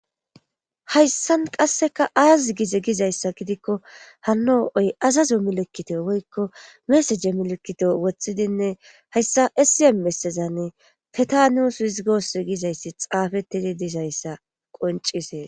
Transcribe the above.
Hayssan qasseka aaz gize gizayssa gidikko hano oy azazo milekkito woykko mesaje milekito wothidinne hayssa esiya mesezanne feta nuusu hisigoos gizayssi xaafettidi dizayssa qoncisees